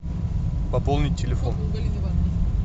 пополнить телефон